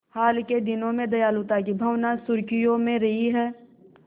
हाल के दिनों में दयालुता की भावना सुर्खियों में रही है